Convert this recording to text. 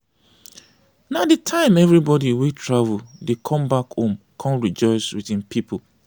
na de time everybody wey travel dey come back home come rejoice with im people.